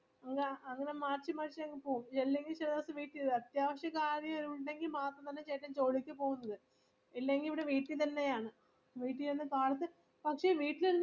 അങ്ങനെ മാറ്റി മാറ്റി അങ്ങുപോവും അല്ലെങ്കിൽ ചിലദിവസം വീട്ടിൽ വേരുവാരുന്നു ആത്യാവിശ്യകാര്യം ഉണ്ടെങ്കിൽ മാത്രമേ ചേട്ടൻ ജോലിക്കു പോവതുള്ളു ഇല്ലെങ്കിൽ വീട്ടിൽ തന്നെ ആണ് വീട്ടിൽനിന്നു കാലത്ത്‌ പക്ഷെ വീട്ടിലിരുന്ന്‌